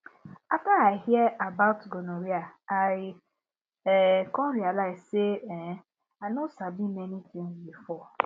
after i hear about gonorrhea i um come realize say um i no sabi many before